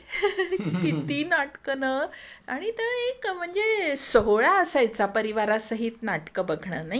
किती नाटकं न आणि तो एक म्हणजे सोहळा असायचा परिवारासहित नाटक बघण नाही का?